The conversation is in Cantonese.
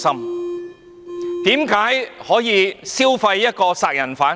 為甚麼可以消費一個殺人犯？